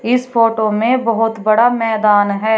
इस फोटो में बहुत बड़ा मैदान है।